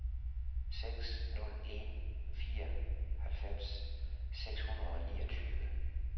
seks nul en fire halvfems seks hundrede og niogtyve